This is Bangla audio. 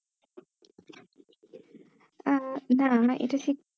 আহ না না না এটা ঠিক